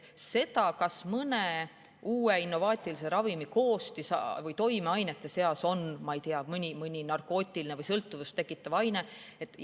Kas mõne uue innovaatilise ravimi koostis‑ või toimeainete seas on, ma ei tea, mõni narkootiline või sõltuvust tekitav aine?